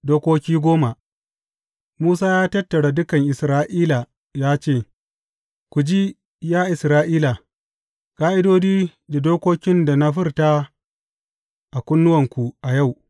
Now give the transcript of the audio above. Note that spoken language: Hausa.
Dokoki goma Musa ya tattara dukan Isra’ila ya ce, Ku ji, ya Isra’ila, ƙa’idodi da dokokin da na furta a kunnuwanku a yau.